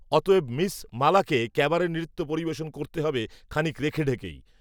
অতএব মিস, মালাকে, ক্যাবারে নৃত্য পরিবেশন করতে হবে, খানিক রেখে ঢেকেই